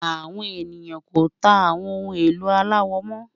Àwọn ènìyàn kò tà àwọn ohun ẹ̀lò aláwọ̀ mo